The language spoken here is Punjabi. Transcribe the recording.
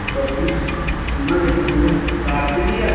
ਆਵਾਂਗੇ ਜਰੂਰ, ਰਾਤ ਵੀ ਆ